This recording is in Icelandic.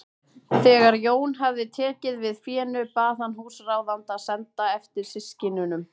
Þegar Jón hafði tekið við fénu bað hann húsráðanda að senda eftir systkinunum.